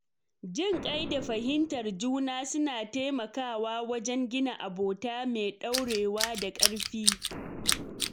Jinƙai da fahimtar juna suna taimakawa wajen gina abota mai ɗorewa da ƙarfi.